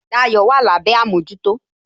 Dayo wà lábé àmójútó